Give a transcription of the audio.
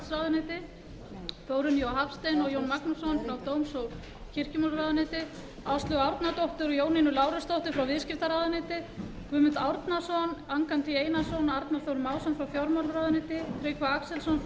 forsætisráðuneyti þórunni j hafstein og jón magnússon frá dóms og kirkjumálaráðuneyti áslaugu árnadóttur og jónínu lárusdóttur frá viðskiptaráðuneyti guðmund árnason angantý einarsson og arnar þór másson frá fjármálaráðuneyti tryggva axelsson frá